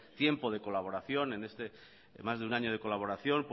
tiempo de colaboración en más de un año de colaboración